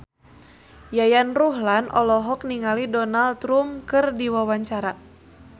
Yayan Ruhlan olohok ningali Donald Trump keur diwawancara